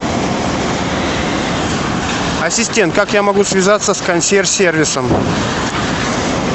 ассистент как я могу связаться с консьерж сервисом